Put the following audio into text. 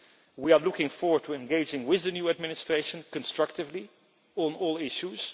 We are looking forward to engaging with the new administration constructively on all issues